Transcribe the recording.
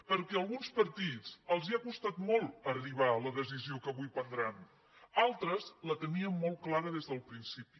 perquè a alguns partits els ha costat molt arribar a la decisió que avui prendran altres la teníem molt clara des del principi